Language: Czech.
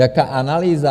Jaká analýza?